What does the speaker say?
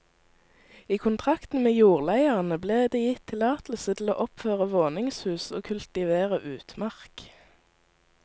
I kontrakten med jordleierne ble det gitt tillatelse til å oppføre våningshus og kultivere utmark.